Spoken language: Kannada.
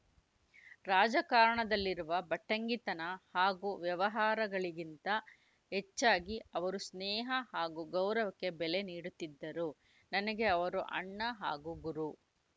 ರಾಜಕಾರಣದಲ್ಲಿರುವ ಭಟ್ಟಂಗಿತನ ಹಾಗೂ ವ್ಯವಹಾರಗಳಿಗಿಂತ ಹೆಚ್ಚಾಗಿ ಅವರು ಸ್ನೇಹ ಹಾಗೂ ಗೌರವಕ್ಕೆ ಬೆಲೆ ನೀಡುತ್ತಿದ್ದರು ನನಗೆ ಅವರು ಅಣ್ಣ ಹಾಗೂ ಗುರು